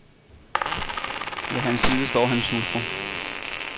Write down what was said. Ved hans side står hans hustru.